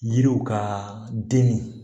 Yiriw ka den min